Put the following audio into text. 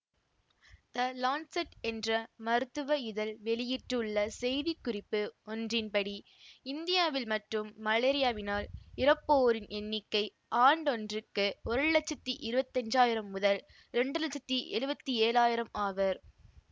த Lancet என்ற மருத்துவ இதழ் வெளியிட்டுள்ள செய்தி குறிப்பு ஒன்றின் படி இந்தியாவில் மட்டும் மலேரியாவினால் இறப்போரின் எண்ணிக்கை ஆண்டொன்றுக்கு ஒரு லட்சத்தி இருவத்தி அஞ்சாயிரம் முதல் இரண்டு லட்சத்தி எழுவத்தி ஏழாயிரம் ஆவர்